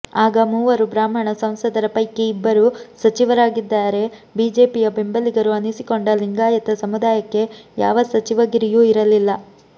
ಆಗ ಮೂವರು ಬ್ರಾಹ್ಮಣ ಸಂಸದರ ಪೈಕಿ ಇಬ್ಬರು ಸಚಿವರಾಗಿದ್ದರೆ ಬಿಜೆಪಿಯ ಬೆಂಬಲಿಗರು ಅನಿಸಿಕೊಂಡ ಲಿಂಗಾಯತ ಸಮುದಾಯಕ್ಕೆ ಯಾವ ಸಚಿವಗಿರಿಯೂ ಇರಲಿಲ್ಲ